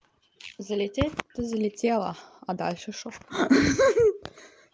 залететь-то залетела а дальше что